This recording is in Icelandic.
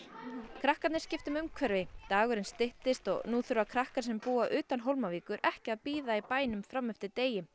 krakkarnir skipta um umhverfi dagurinn styttist og nú þurfa krakkar sem búa utan Hólmavíkur ekki að bíða í bænum fram eftir degi